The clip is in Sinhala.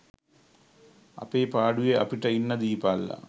අපේ පාඩුවේ අපිට ඉන්න දීපල්ලා